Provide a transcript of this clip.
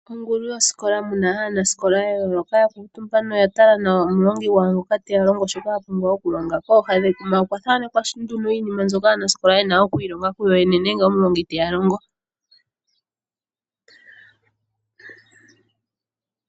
Ongulu yosikola mu na aanasikola ya yooloka ya kuutumba noya tala nawa omulongi gwawo ngoka te ya longo shoka ya pumbwa okulongwa. Kooha dhekuma okwa thanekwa nduno iinima mbyoka aanasikola ye na okwiilonga kuyoyene nenge omulongi te ya longo.